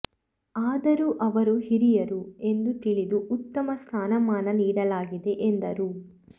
ಆದರೂ ಅವರು ಹಿರಿಯರು ಎಂದು ತಿಳಿದು ಉತ್ತಮ ಸ್ಥಾನಮಾನ ನೀಡಲಾಗಿದೆ ಎಂದರು